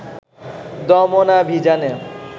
দমনাভিযানে